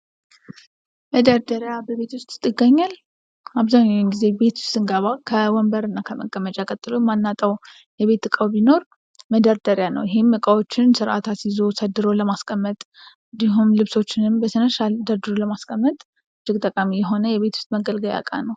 መደርደሪያ በቤት ውስጥ ይገኛል ። አብዛኛው ጊዜ ቤት ስንገባ ከወንበር እና ከመቀመጫ ቀጥሎ የማናጠው የቤት እቃው ቢኖር መደርደሪያ ነው ። ይህም እቃዎችን ስርአት አስይዞ ሰድሮ ለማስቀመጥ እንዲሁም ልብሶችንም በስነስርአት ደርድሮ ለማስቀመጥ እጅግ ጠቃሚ የሆነ የቤት ውስጥ መገልገያ እቃ ነው ።